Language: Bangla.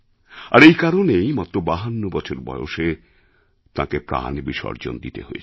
আর এই কারণেই মাত্র ৫২ বছর বয়সে তাঁকে প্রাণ বিসর্জন দিতে হয়